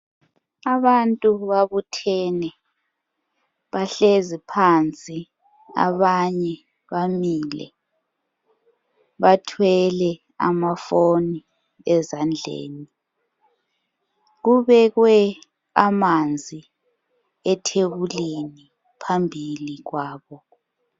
Abantu babuthene. Bahlezi phansi abanye bamile. Bathwele amafoni ezandleni. Kubekwe amanzi ethebulini phambili kwabo.